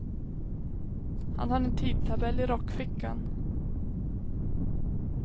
Han har en tidtabell i rockfickan.